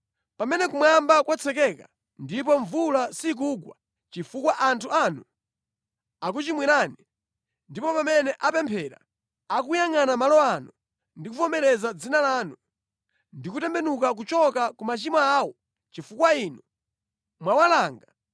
“Pamene kumwamba kwatsekeka ndipo mvula sikugwa chifukwa anthu anu akuchimwirani, ndipo pamene apemphera akuyangʼana malo ano ndi kuvomereza Dzina lanu, ndi kutembenuka kuchoka ku machimo awo chifukwa inu mwawalanga,